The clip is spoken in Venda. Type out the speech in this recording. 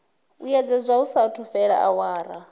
vhuyedzedzwa hu saathu fhela awara